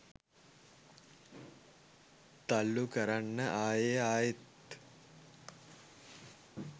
තල්ලු කරන්න ආයෙ ආයෙත්